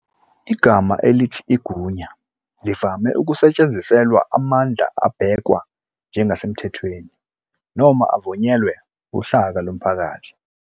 Igama elithi "igunya" livame ukusetshenziselwa amandla abhekwa njengasemthethweni noma avunyelwe uhlaka lomphakathi.